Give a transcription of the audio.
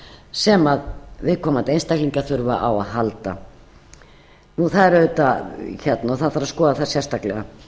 sem viðkomandi einstaklingar þurfa á að halda og það þarf að skoða það sérstaklega